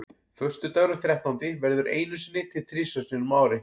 Föstudagurinn þrettándi verður einu sinni til þrisvar sinnum á ári.